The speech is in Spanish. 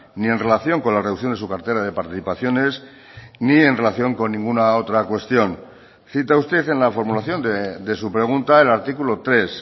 ni en relación con la reducción de su cartera de participaciones ni en relación con ninguna otra cuestión cita usted en la formulación de su pregunta el artículo tres